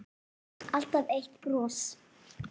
Alltaf eitt bros.